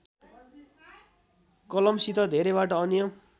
कलमसित धेरैबाट अन्य